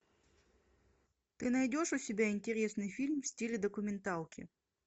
ты найдешь у себя интересный фильм в стиле документалки